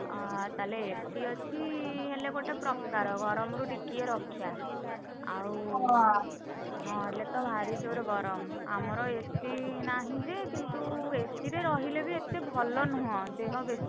ଅ ତାହେଲେ AC ଅଛି ହେଲେ ଗୋଟେ ପ୍ରକାର, ଗରମରୁ ଟିକିଏ ରକ୍ଷା, ଆଉ ନହେଲେ ତ ଭାରି ଯୋରେ ଗରମ, ଆମର AC ନାହିଁ ଯେ କିନ୍ତୁ AC ରେ ରହିଲେ ବି ଏତେଭଲ ନୁହଁ, ଦେହ ବେଶୀ